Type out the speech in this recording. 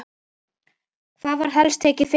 Hvað var helst tekið fyrir?